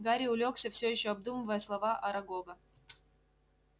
гарри улёгся всё ещё обдумывая слова арагога